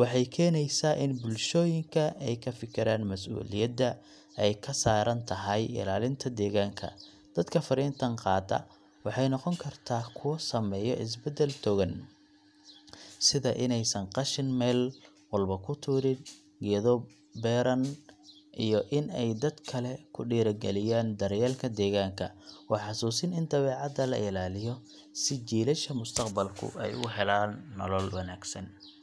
waxay keenaysaa in bulshooyinka ay ka fekeraan mas’uuliyadda ay ka saaran tahay ilaalinta deegaanka. Dadka fariintan qaata waxay noqon karaan kuwo sameeya isbeddel togan, sida inaysan qashin meel walba ku tuurin, geedo beeraan, iyo in ay dad kale ku dhiirrigeliyaan daryeelka deegaanka. Waa xasuusin in dabeecadda la ilaaliyo si jiilasha mustaqbalku ay u helaan nolol wanaagsan.